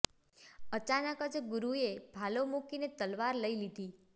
અચાનક જ ગુરુએ ભાલો મૂકીને તલવાર લઈ લીધી